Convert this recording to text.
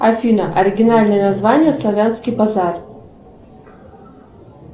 афина оригинальное название славянский базар